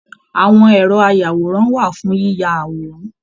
Àwọn ẹrọ ayàwòrán wà fún yiyá àwòrán